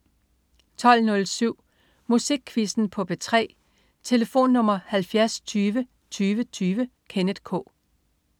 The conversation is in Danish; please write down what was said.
12.07 Musikquizzen på P3. Tlf.: 70 20 20 20. Kenneth K